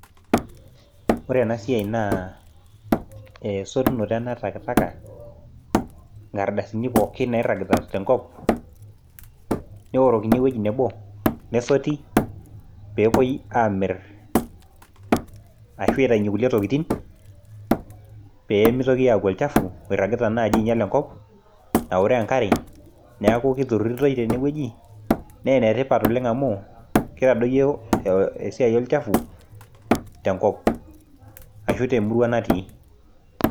Ore ena siai naa esotunoto ena e taka taka, nkardasini pookin nairragita tenkop, neorokini ewueji nebo nesoti peepwoi amirr ashu aitainye kulie tokiting pee mitoki aaku olchafu oirragita naaji ainyal enkop naoroo enkare neeku iturrurritoi tenewueji naa enetipat oleng amu kitadoyio esiai olchafu tenkop ashu temurwa natii